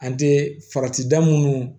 An tɛ farati da minnu